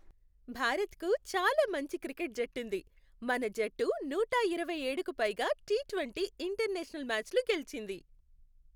భారత్కు చాలా మంచి క్రికెట్ జట్టుంది. మన జట్టు నూట ఇరవయ్యేడుకు పైగా టీ ట్వంటీ ఇంటర్నేషనల్ మ్యాచ్లు గెలిచింది.